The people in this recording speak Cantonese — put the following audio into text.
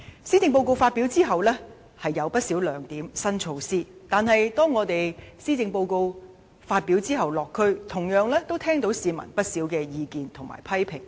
雖然施政報告有不少亮點和新措施，但在施政報告發表後，我們落區時也聽到市民不少的意見及批評。